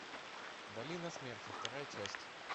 долина смерти вторая часть